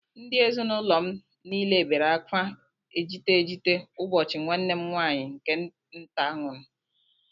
Ndị ezinụlọ m niile bere akwa ejite ejite ụbọchị nwanne m nwaanyị nke nta nwụrụ